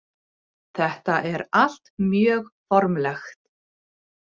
Þetta er allt mjög formlegt